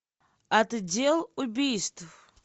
отдел убийств